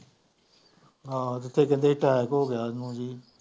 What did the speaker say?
ਹਾਂ ਤੇ ਕਹਿੰਦੇ attack ਹੋ ਗਿਆ ਉਹਨੂੰ